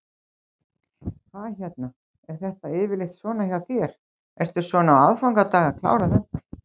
Hvað hérna, er þetta yfirleitt svona hjá þér, ertu svona á aðfangadag að klára þetta?